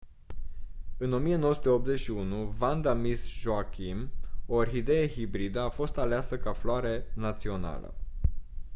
în 1981 vanda miss joaquim o orhidee hibridă a fost aleasă ca floare națională